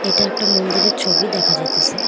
এটা একটা মন্দিরের ছবি দেখা যাইতেসে।